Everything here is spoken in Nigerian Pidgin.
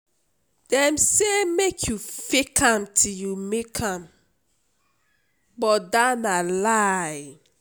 dem say make you fake am till you make am but dat na lie